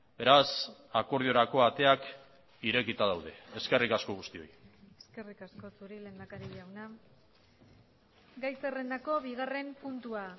beraz akordiorako ateak irekita daude eskerrik asko guztioi eskerrik asko zuri lehendakari jauna gai zerrendako bigarren puntua